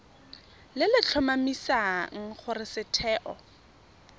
le le tlhomamisang gore setheo